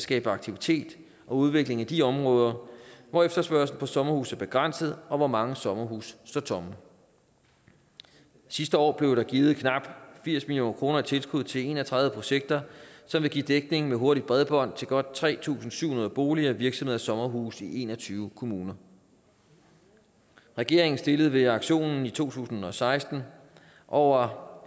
skabe aktivitet og udvikling i de områder hvor efterspørgslen på sommerhuse er begrænset og hvor mange sommerhuse står tomme sidste år blev der givet knap firs million kroner i tilskud til en og tredive projekter som vil give dækning med hurtigt bredbånd til godt tre tusind syv hundrede boliger virksomheder og sommerhuse i en og tyve kommuner regeringen stillede ved auktionen i to tusind og seksten over